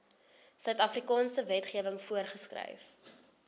suidafrikaanse wetgewing voorgeskryf